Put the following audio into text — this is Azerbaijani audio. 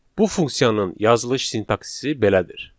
Bu funksiyanın yazılış sintaksisi belədir.